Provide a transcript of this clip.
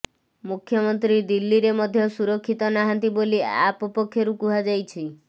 ମୁଖ୍ୟମନ୍ତ୍ରୀ ଦିଲ୍ଲୀରେ ମଧ୍ୟ ସୁରକ୍ଷିତ ନାହାନ୍ତି ବୋଲି ଆପ୍ ପକ୍ଷରୁ କୁହାଯାଇଛି